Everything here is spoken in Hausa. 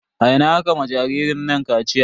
A ina aka ma jaririn nan kaciya?